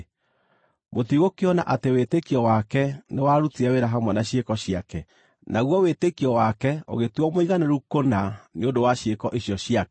Mũtigũkĩona atĩ wĩtĩkio wake nĩ warutire wĩra hamwe na ciĩko ciake, naguo wĩtĩkio wake ũgĩtuuo mũiganĩru kũna nĩ ũndũ wa ciĩko icio ciake.